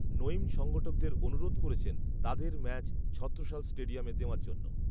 নঈম সংগঠকদের অনুরোধ করেছেন তাদের ম্যাচ ছত্রসাল স্টেডিয়ামে দেওয়ার জন্য